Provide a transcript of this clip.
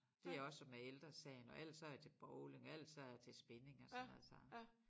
Det også med Ældre Sagen og ellers så jeg til bowling og ellers så jeg til spinning og sådan noget så